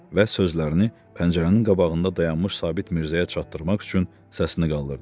Və sözlərini pəncərənin qabağında dayanmış Sabit Mirzəyə çatdırmaq üçün səsini qaldırdı.